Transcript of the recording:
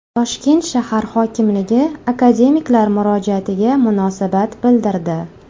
Toshkent shahar hokimligi akademiklar murojaatiga munosabat bildirdi.